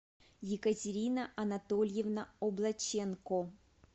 екатерина анатольевна облаченко